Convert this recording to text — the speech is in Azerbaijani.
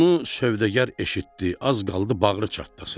Bunu sövdəgər eşitdi, az qaldı bağrı çatlasın.